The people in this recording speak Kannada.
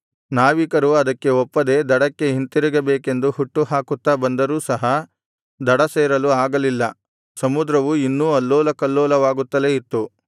ನಾವಿಕರು ಅದಕ್ಕೆ ಒಪ್ಪದೆ ದಡಕ್ಕೆ ಹಿಂತಿರುಗಬೇಕೆಂದು ಹುಟ್ಟುಹಾಕುತ್ತಾ ಬಂದರೂ ಸಹ ದಡ ಸೇರಲು ಆಗಲಿಲ್ಲ ಸಮುದ್ರವು ಇನ್ನೂ ಅಲ್ಲೋಲಕಲ್ಲೋಲವಾಗುತ್ತಲೇ ಇತ್ತು